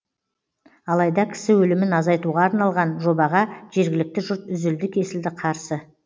алайда кісі өлімін азайтуға арналған жобаға жергілікті жұрт үзілді кесілді қарсы